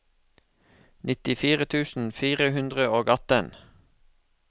nittifire tusen fire hundre og atten